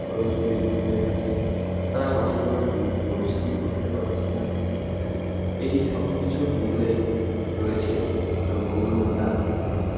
খরচ ও বৃদ্ধি হয়ে গেছে, তারা সঠিকভাবে জমিতে পরিশ্রম করতে পারছে না. সুই~ এই সবকিছুর মূলেই রয়েছে দ্রব্যমূল্যের দাম বৃদ্ধি.